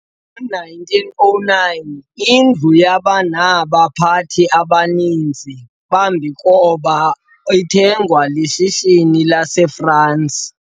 ngo 1909 indlu yaba naba pathi abaninsi bambikoba ithengwe lishishini lase France